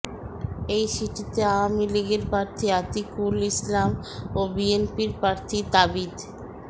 এই সিটিতে আওয়ামী লীগের প্রার্থী আতিকুল ইসলাম ও বিএনপির প্রার্থী তাবিথ